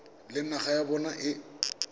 le naga ya bona e